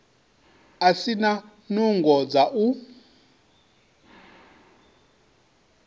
si na nungo dza u